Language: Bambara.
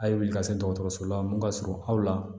A ye wili ka se dɔgɔtɔrɔso la mun ka surun aw la